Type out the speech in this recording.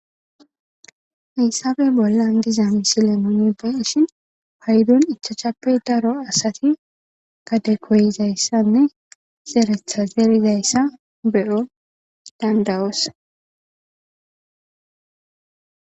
Hayssabe bollan diza misilemoni beshin paydon ichachappe daro asati gade koyizayssanne zeeretha zeerizayssa beyo dandawos